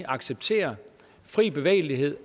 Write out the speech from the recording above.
accepterer fri bevægelighed